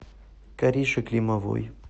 карише климовой